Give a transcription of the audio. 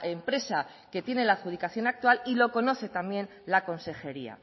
empresa que tiene la adjudicación actual y lo conoce también la consejería